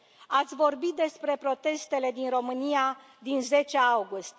Ați vorbit despre protestele din România din 10 august.